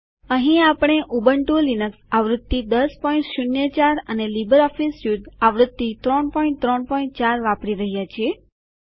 અહીં આપણે Ubuntu Linux આવૃત્તિ ૧૦૦૪ અને લીબરઓફીસ સ્યુટ આવૃત્તિ ૩૩૪ વાપરી રહ્યા છીએ